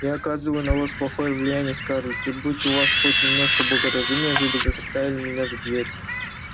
я оказываю на вас плохое влияние скарлетт и будь у вас хоть немножко благоразумия вы бы заставили меня за дверь